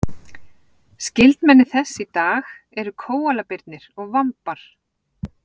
skyldmenni þess í dag eru kóalabirnir og vambar